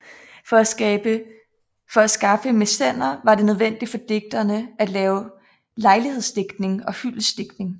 For at skaffe mæcener var det nødvendigt for digterne at lave lejlighedsdigtning og hyldestdigtning